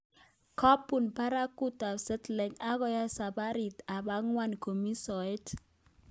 Kobun baragut ab Seattle akoyai sabarit ab angwan komii soet